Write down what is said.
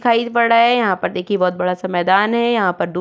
खाई पड़ रहा है यहाँ पर देखिये बहोत बड़ा सा मैंदान है यहाँ पर दू --